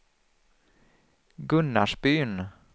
Gunnarsbyn